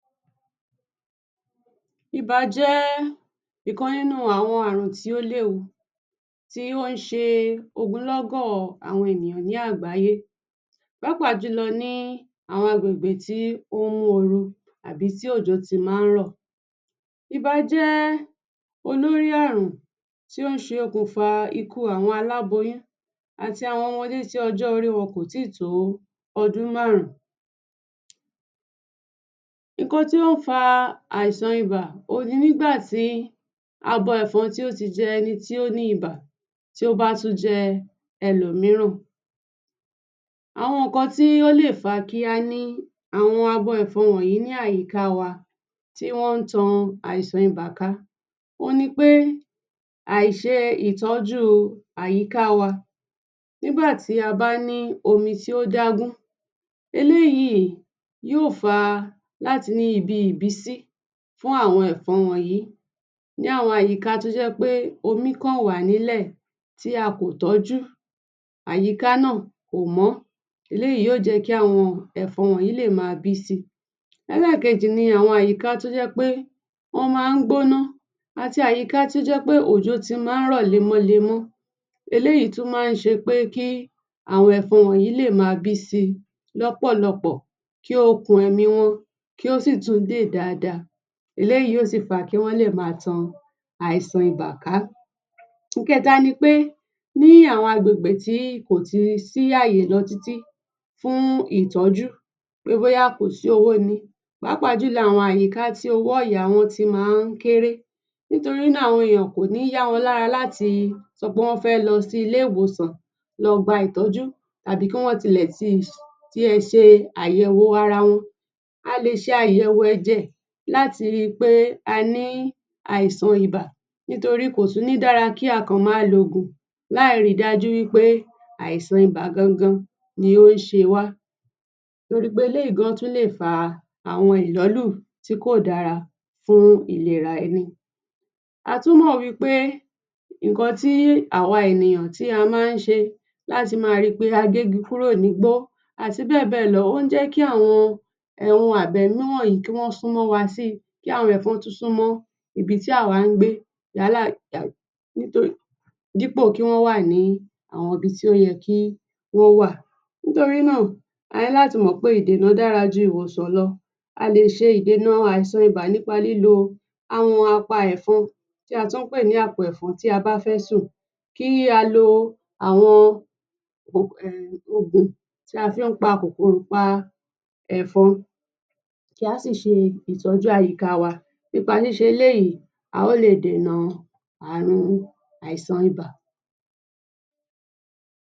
Ibà jẹ́ ìkan nínú àwọn àrùn tí ó léwu tó ń ṣe ogúnlọ́gọ́ àwọn ènìyàn ní àgbáyé, pàápàá jù lọ ní àwọn agbègbè tí ó ń mú oru àbí tí òjò ti máa ń rọ̀. Ibà jẹ́ olórí àrùn tí ó ń ṣe okùnfà ikú àwọn aláboyún, àti àwọn ọmọdé tí ọjọ́ orí wọn kò ì tí tó ọdún márùn-ún. Nǹkan tí ó ń fa àìsàn ibà òhun ni nígbà tí abo ẹ̀fọn tí ó ti jẹ́ ẹni tí ó ní ibà tó bá tún jẹ́ ẹlòmíràn. Àwọn nǹkan tí ó lè fà á kí á ní àwọn abo ẹ̀fọn wọ̀nyí ní àyíká wa tí wọ́n ń tan àìsàn ibà ká, òhun ni pé àìṣe ìtọ́jú àyíká wa. Nígbà tí a bá ní omi tí ó adágún, eléyìí yóò fa láti ní ibi ìbísí fún àwọn ẹ̀fọn wọ̀nyí. Ní àwọn àyíká tó jẹ́ pé omi kàn wà nílẹ̀ tí a kò tọ́jú, àyíká náà kò mọ́, eléyìí yóò jẹ́ kí àwọn ẹ̀fọn wọ̀nyí lè máa bí si. Ẹlẹ́ẹ̀kejì ní àwọn àyíká tó jẹ́ pé wọ́n máa ń gbóná, àti àyíká tó jẹ́ pé òjò ti máa ń rọ̀ lemọ́ lemọ́. Eléyìí tún máa ń ṣe pé kí àwọn ẹ̀fọn wọ̀nyí lè máa bí si lọ́pọ̀lọpọ̀, kí okùn ẹ̀mí wọn kí ó sì tún dè dáadáa. Eléyìí yóò fà á kí wọ́n lè máa tan àìsàn ibà ká. Ìkẹ́ta ni pé ní àwọn agbègbè tí kò ti sí àyè lọ títí fún ìtọ́jú, pé bóyá kò sí owó ni pàápàá jù lọ àwọn àyíká tí owó ọ̀yà wọn ti máa ń kéré. Nítorí náà àwọn èèyàn, kò ní yá wọn lára láti sọ pé wọ́n fẹ́ lọ sí ilé ìwòsàn lọ gba ìtọ́jú tàbí kí wọ́n ti lẹ̀ ti tiẹ̀ ṣe àyẹ̀wò ara wọn. A lè sè àyẹ̀wò ẹ̀jẹ̀ láti ri pé a ní àìsàn ibà. Nítorí kò tú ní dára kí a kọ̀ máa lo oògùn láì rí dájú wí pé àìsàn ibà gan-an gan-an ni ó ń ṣe wá. Torí pé eléyìí gan-an tún lè fa àwọn ìlọ́lù tí kò dára fún ìlera ẹni. A tún mọ̀ wí pé nǹkan tí àwa ènìyàn tí a máa ń ṣe láti máa rí pé a gé igi kúrò ní bó àti bẹ́ẹ̀ bẹ́ẹ̀ lọ, ó ń jẹ́ kí àwọn ohun a ẹ̀mí wọ̀nyí kí wọ́n sún mọ́ wa si, kí àwọn ẹ̀fọn tún sún mọ́ ibi tí àwa ń gbé dípò kí wọ́n wà ní àwọn ibi tí ó yẹ kí wọ́n wà. Nítorí náà, a ní láti mọ̀ pé ìdènà dára ju ìwòsàn lọ. A lè ṣe ìdènà àìsàn ìbà nípa lílo àwọn a pa ẹ̀fọn tí a tún ń pè ní apẹ̀fọn tí a bá fẹ́ sùn, kí a lo àwọn um ògùn tí a fí ń pa kòkòrò pa ẹ̀fọn kí á sì ṣe ìtọ́jú àyíká wa. Nípa ṣíṣe eléyìí, a ó lè dènà àrùn àìsàn ibà.